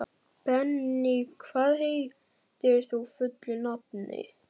Benný, hvað heitir þú fullu nafni?